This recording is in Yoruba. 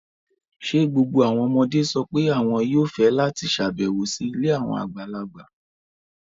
Ṣé gbogbo àwọn ọmọdé sọ pé àwọn yóò fẹ́ láti ṣàbẹ̀wò sí ilé àwọn àgbàlagbà?